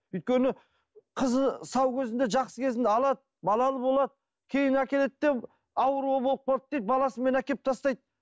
өйткені қызы сау кезінде жақсы кезінде алады балалы болады кейін әкеледі де ауру болып қалды дейді баласымен әкеліп тастайды